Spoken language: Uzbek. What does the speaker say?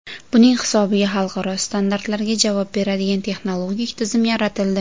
Buning hisobiga xalqaro standartlarga javob beradigan texnologik tizim yaratildi.